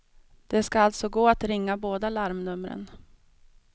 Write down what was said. Det ska alltså gå att ringa båda larmnumren.